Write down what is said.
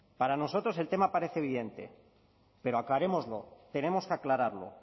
para nosotros el tema parece evidente pero aclarémoslo tenemos que aclararlo